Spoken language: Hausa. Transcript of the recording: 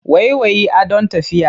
Waiwayi, adon tafiya.